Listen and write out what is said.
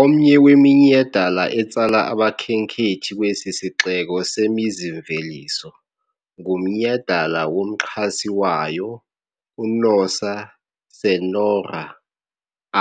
Omnye weminyhadala etsala abakhenkethi kwesi sixeko semizi-mveliso ngumnyhadala womxhasi wayo, uNossa Senhora